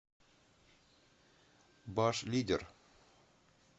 башлидер